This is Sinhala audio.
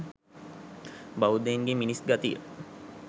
බෞද්ධයින්ගේ මිනිස් ගතිය.